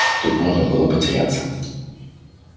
тут можно было потеряться